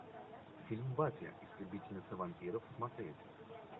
фильм баффи истребительница вампиров смотреть